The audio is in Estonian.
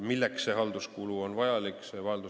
Milleks see halduskulu vajalik on?